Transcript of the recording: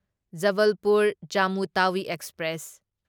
Jabalpur Jammu Tawi express